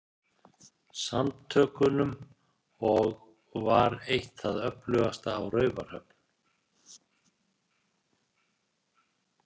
Samtökunum og var eitt það öflugasta á Raufarhöfn.